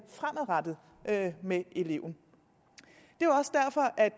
fremadrettet med eleven